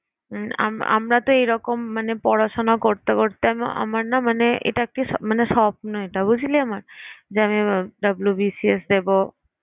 উম আম~ আমরা তো এরকম মানে পড়াশোনা করতে করতে আমি আমার না মানে এটা একটি মানে মানে স্বপ্ন এটা বুঝলি আমার যে আমি WBCS দেবো